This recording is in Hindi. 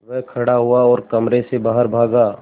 वह खड़ा हुआ और कमरे से बाहर भागा